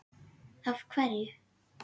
Af hverju.